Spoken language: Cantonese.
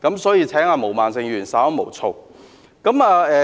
所以，請毛孟靜議員稍安毋躁。